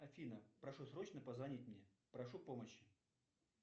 афина прошу срочно позвонить мне прошу помощи